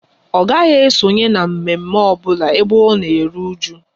Ọ gaghị esonye na mme mme ọbụla ebe ọ na eru ụju